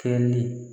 Kɛli